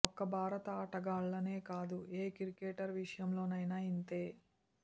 ఒక్క భారత ఆటగాళ్లనే కాదు ఏ క్రికెటర్ విషయంలోనైనా ఇంతే